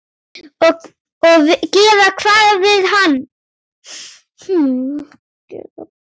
Og gera hvað við hann?